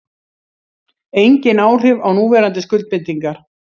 Engin áhrif á núverandi skuldbindingar